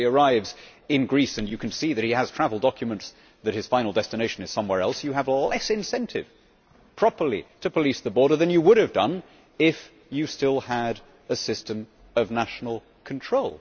If somebody arrives in Greece and you can see that he has travel documents, that his final destination is somewhere else, you have less incentive properly to police the border than you would have done if you still had a system of national control.